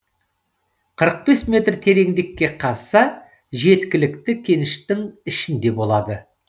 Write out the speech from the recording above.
қырық бес метр тереңдікке қазса жеткілікті кеніштің ішінде болады